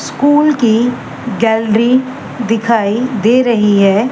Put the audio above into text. School की gallery दिखाई दे रही है।